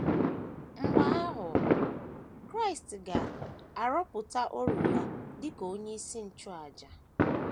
Mgbe ahụ, Kraịst ga - arụtọpụ ọrụ ya dị ka Onyeisi Nchụàjà.